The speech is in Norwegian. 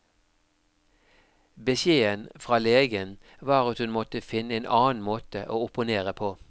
Beskjeden fra legen var at hun måtte finne en annen måte å opponere på.